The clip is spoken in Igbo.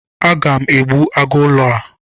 Aga m egbu agụ ụlọ a.